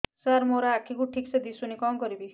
ସାର ମୋର ଆଖି କୁ ଠିକସେ ଦିଶୁନି କଣ କରିବି